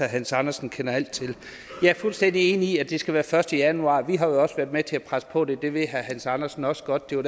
hans andersen kender alt til jeg er fuldstændig enig i at det skal være den første januar vi har jo også været med til at presse på for det det ved herre hans andersen også godt det var